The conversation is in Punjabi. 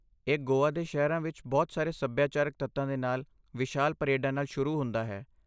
ਇਹ ਗੋਆ ਦੇ ਸ਼ਹਿਰਾਂ ਵਿੱਚ ਬਹੁਤ ਸਾਰੇ ਸੱਭਿਆਚਾਰਕ ਤੱਤਾਂ ਦੇ ਨਾਲ ਵਿਸ਼ਾਲ ਪਰੇਡਾਂ ਨਾਲ ਸ਼ੁਰੂ ਹੁੰਦਾ ਹੈ।